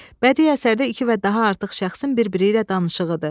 Bədi əsərdə iki və daha artıq şəxsin bir-biri ilə danışığıdır.